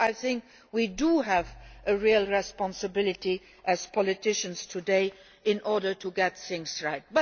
Here I think we have a real responsibility as politicians today to get things right.